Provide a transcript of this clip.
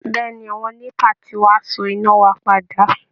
Bẹ́ẹ̀ ni, àwọn NEPA ti wá so iná wa padà